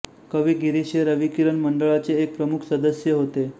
कवी गिरीश हे रविकिरण मंडळाचे एक प्रमुख सदस्य होते